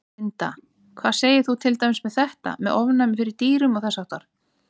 Linda: Hvað segir þú til dæmis með þetta, með ofnæmi fyrir dýrum og þess háttar?